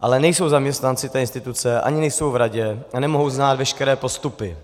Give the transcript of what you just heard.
ale nejsou zaměstnanci té instituce ani nejsou v radě a nemohou znát veškeré postupy.